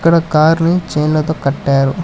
ఇక్కడ కార్ ని చైండ్లతో కట్టారు.